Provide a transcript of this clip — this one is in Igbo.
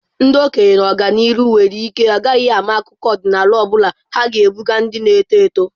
Ndị okenye n'ọdịnihu nwere ike ha agaghị ama akụkọ ọdịnala ọ bụla ha ga-ebuga ndị na-eto eto.